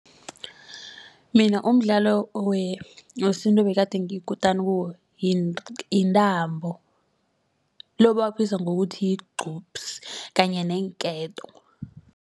Mina umdlalo wesintu bakagade ngiyikutani kiwo yintambo lo abawubiza ngokuthi yigqubsi kanye neenketo.